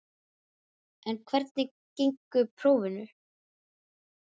En hvernig gengu prófin?